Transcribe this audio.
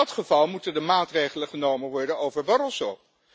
In dat geval moeten er maatregelen genomen worden over Barroso.